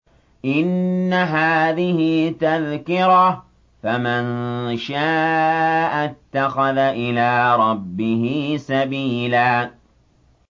إِنَّ هَٰذِهِ تَذْكِرَةٌ ۖ فَمَن شَاءَ اتَّخَذَ إِلَىٰ رَبِّهِ سَبِيلًا